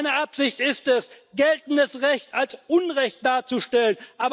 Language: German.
Seine Absicht ist es, geltendes Recht als Unrecht darzustellen.